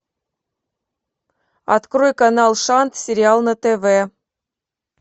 открой канал шант сериал на тв